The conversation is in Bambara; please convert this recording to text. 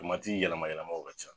yɛlɛma yɛlɛmaw ka ca